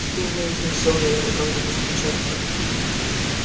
теперь наездник сел на американку без перчаток